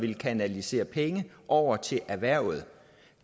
ville kanalisere penge over til erhvervet